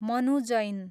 Manu Jain